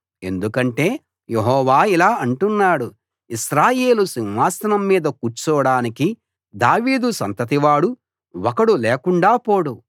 ఎందుకంటే యెహోవా ఇలా అంటున్నాడు ఇశ్రాయేలు సింహాసనం మీద కూర్చోడానికి దావీదు సంతతివాడు ఒకడు లేకుండా పోడు